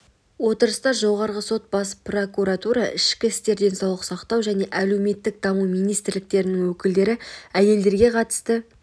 отырыста жоғарғы сот бас прокуратура ішкі істер денсаулық сақтау және әлеуметтік даму министрліктерінің өкілдері әйелдерге қатысты